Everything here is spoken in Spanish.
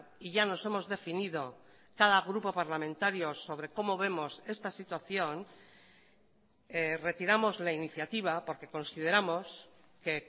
y ya nos hemos definido cada grupo parlamentario sobre cómo vemos esta situación retiramos la iniciativa porque consideramos que